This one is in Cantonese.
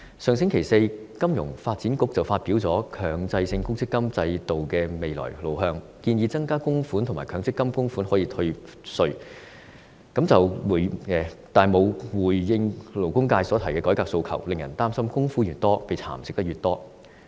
香港金融發展局在上星期四發表了《強制性公積金制度的未來路向》報告，建議增加供款額及強積金供款可以退稅，但卻沒有回應勞工界提出的改革訴求，令人擔心供款越多，便會被蠶食得越多。